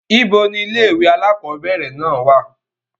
ibo ni ilé ìwé àkọ́bẹ̀rẹ̀ náà wà?